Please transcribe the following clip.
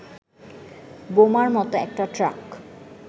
বোমার মতো একটা ট্রাক